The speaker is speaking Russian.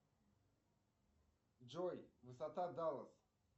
джой высота даллас